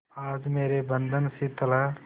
आज मेरे बंधन शिथिल हैं